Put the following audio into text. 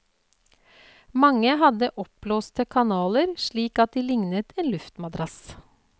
Mange hadde oppblåste kanaler, slik at de lignet en luftmadrass.